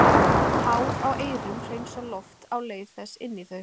Hár á eyrum hreinsa loft á leið þess inn í þau.